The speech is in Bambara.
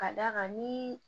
Ka d'a kan ni